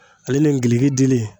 Ale ni ngiliki dili